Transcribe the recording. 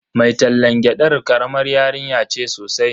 Mai tallan gyadar karamar yarinya ce sosai.